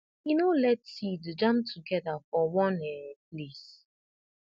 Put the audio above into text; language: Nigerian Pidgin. e no let seed jam together for one um place